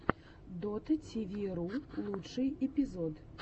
дотативиру лучший эпизод